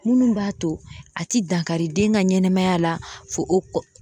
Minnu b'a to a tɛ dankari den ka ɲɛnɛmaya la fo o